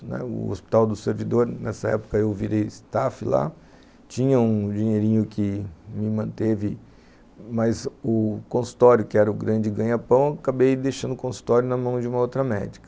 O Hospital do Servidor, nessa época eu virei staff lá, tinha um dinheirinho que me manteve, mas o consultório, que era o grande ganha-pão, eu acabei deixando o consultório na mão de uma outra médica.